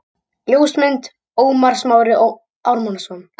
Ljósmynd: Ómar Smári Ármannsson